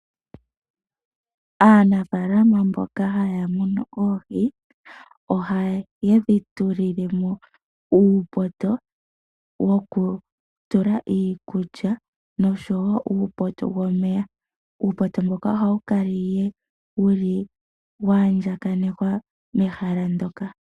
Aanafaalama mboka haya munu oohi ohaye dhi tulile mo uupoto woku tula iikulya osho wo uupoto womeya. Uupoto mboka ohawu kala wulu waandjakanekwa mehala ndyoka.